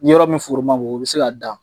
Ni yɔrɔ min foro ma bon, o bɛ se ka da.